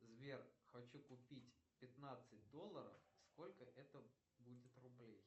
сбер хочу купить пятнадцать долларов сколько это будет рублей